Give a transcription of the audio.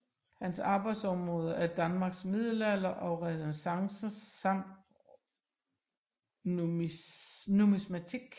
Hans arbejdsområder er Danmarks middelalder og renæssance samt numismatik